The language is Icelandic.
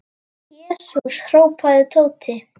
Jesús! hrópaði Tóti.